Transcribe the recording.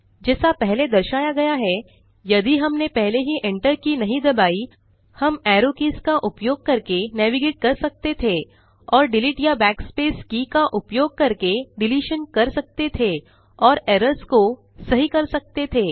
जैसा पहले दर्शाया गया है यदि हमने पहले ही एंटर की नहीं दबाई हम एरो कीज का उपयोग करके नेविगेट कर सकते थे और डिलीट या backspace की का उपयोग करके डिलीशन कर सकते थे और एरर्स को सही कर सकते थे